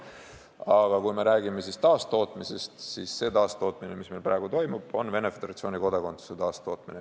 Aga kui räägime taastootmisest, siis see, mis meil praegu toimub, on Venemaa Föderatsiooni kodakondsuse taastootmine.